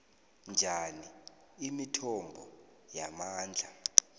njani imithombo yamandla